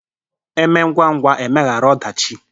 Eme ngwa ngwa emehara ọdachị.